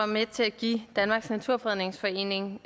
med til at give danmarks naturfredningsforening